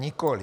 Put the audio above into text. Nikoliv.